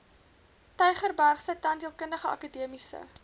tygerbergse tandheelkundige akademiese